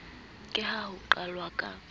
ke ha ho qalwa ka